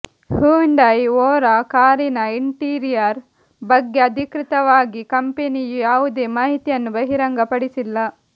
Hyundai Aura ಕಾರಿನ interior ಬಗ್ಗೆ ಅಧಿಕೃತವಾಗಿ ಕಂಪನಿಯು ಯಾವುದೇ ಮಾಹಿತಿಯನ್ನು ಬಹಿರಂಗಪಡಿಸಿಲ್ಲ